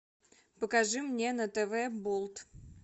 покажи мне на тв болт